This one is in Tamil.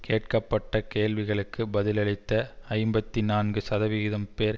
கேட்கப்பட்ட கேள்விகளுக்கு பதிலளித்த ஐம்பத்தி நான்கு சதவிகிதம் பேர்